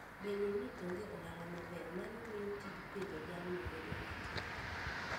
Bedo ni onge ohala maber, mano miyo tij pidho jamni bedo matek.